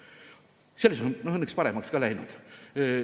Sellest on õnneks paremaks ka läinud.